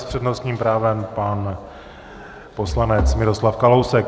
S přednostním právem pan poslanec Miroslav Kalousek.